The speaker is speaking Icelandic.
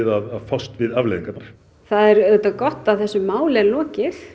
að fást við afleiðingarnar það er auðvitað gott að þessu máli er lokið